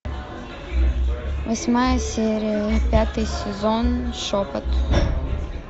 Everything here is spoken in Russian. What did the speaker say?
восьмая серия пятый сезон шепот